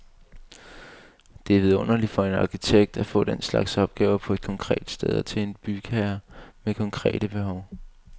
Det er vidunderligt for en arkitekt at få den slags opgaver på et konkret sted og til en bygherre med konkrete behov.